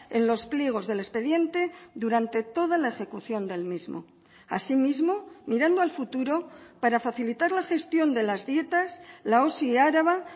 en los pliegos del expediente durante toda la ejecución del mismo asimismo mirando al futuro para facilitar la gestión de las dietas la osi araba